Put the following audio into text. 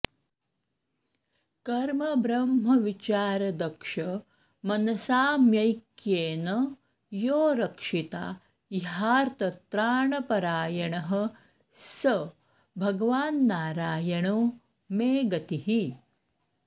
कर्मब्रह्मविचारदक्षमनसामैक्येन यो रक्षिता ह्यार्तत्राणपरायणः स भगवान्नारायणो मे गतिः